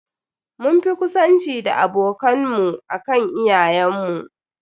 Mun fi ƙusanci da abokan mu akan iyayen mu.